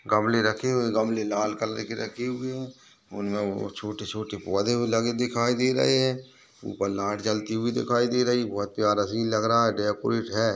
गमले रखे हुए गमले लाल कलर के रखे हुए है उनमें ओ छोटे-छोटे पौधे भी लगे दिखाई दे रहे है ऊपर लाइट जलती हुई दिखाई दे रही बहुत प्यारा सिन लग रहा है डेकोरेट है।